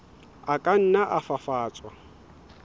a ka nna a fafatswa